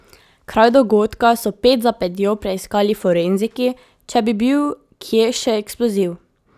Kraj dogodka so ped za pedjo preiskali forenziki, če bi bil kje še eksploziv.